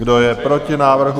Kdo je proti návrhu?